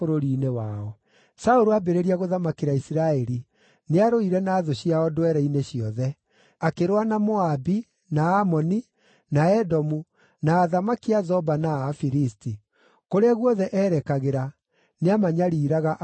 Saũlũ aambĩrĩria gũthamakĩra Isiraeli, nĩarũire na thũ ciao ndwere-inĩ ciothe: akĩrũa na Moabi, na Amoni, na Edomu, na athamaki a Zoba na a Afilisti. Kũrĩa guothe eerekagĩra, nĩamanyariiraga akamaherithia.